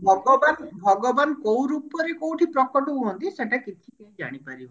ଭଗବାନ ଭଗବାନ କଉ ରୂପରେ କଉଠି ପ୍ରକଟ ହୁଅନ୍ତି ସେଟା କେବେ କେହି ଜାଣିପାରିବେନି